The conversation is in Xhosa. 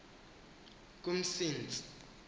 kumsintsi